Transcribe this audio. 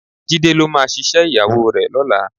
Jídé ló máa ṣiṣẹ́ ìyàwó rẹ̀ lọ́la